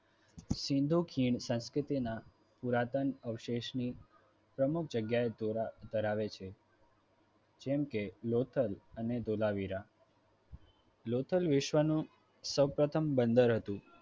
સિંધુ ખીણ સંસ્કૃતિના પુરાતન અવશેષો ની પ્રમુખ જગ્યા ઓ ધરાવે છે જેમકે લોથલ અને ધોળાવીરા લોથલ વિશ્વનું સૌ પ્રથમ બંદર હતું